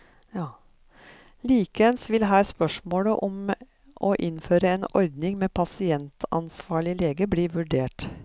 Likeens vil her spørsmålet om å innføre en ordning med pasientansvarlig lege bli vurdert.